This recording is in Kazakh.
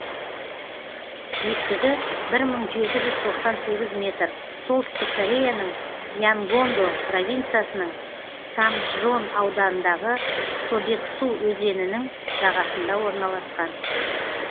биіктігі бір мың жеті жүз тоқсан сегіз метр солтүстік кореяның янгондо провинциясының самджон ауданындағы собексу өзенінің жағасында орналасқан